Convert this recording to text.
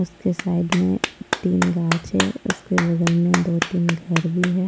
उसके साइड में तीन गांच है उसके बगल में दो-तीन घर भी है।